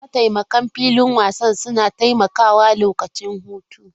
Mataimakan filin wasan suna taimakawa lokacin hutu.